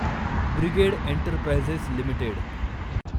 brigade Enterprises limited